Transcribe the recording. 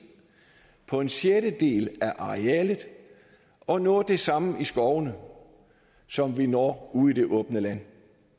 på en sjettedel af arealet at nå det samme i skovene som vi når ude i det åbne land